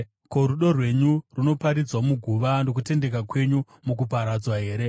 Ko, rudo rwenyu runoparidzwa muguva, nokutendeka kwenyu mukuparadzwa here?